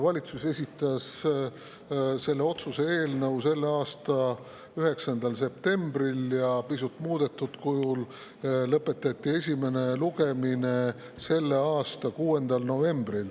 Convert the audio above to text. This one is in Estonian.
Valitsus esitas kõnealuse otsuse eelnõu selle aasta 9. septembril ja pisut muudetud kujul lõpetati esimene lugemine selle aasta 6. novembril.